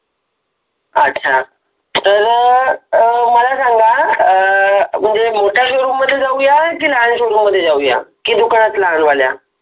अच्छा तर मला सांगा कि अ मोठ्या show room मधे जाऊया कि लहान show room मधे जाऊया कि दुकानात लहानवाल्या